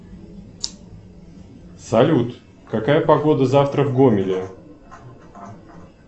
салют какая погода завтра в гомеле